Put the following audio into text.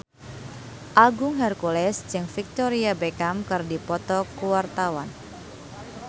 Agung Hercules jeung Victoria Beckham keur dipoto ku wartawan